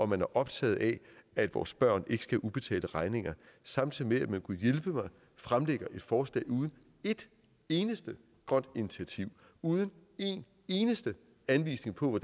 man er optaget af at vores børn ikke skal have ubetalte regninger samtidig med at man gudhjælpemig fremlægger et forslag uden et eneste grønt initiativ uden en eneste anvisning på